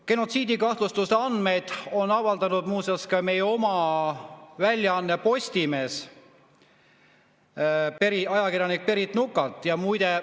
Genotsiidikahtlustuse andmeid on avaldanud muuseas ka meie oma väljaanne Postimees, ajakirjanik Berit Nuka.